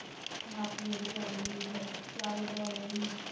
ਮਾਸੀ ਉਹਦੀ ਆਈ ਸੀ ਫੇਰ, ਚਾਵੇ ਤੋਂ ਆਏ ਹੀਂ ਸੀ